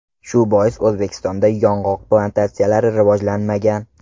Shu bois O‘zbekistonda yong‘oq plantatsiyalari rivojlanmagan.